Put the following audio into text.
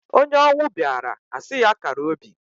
Onye ọnwụ bịaara a sị ya kara obi.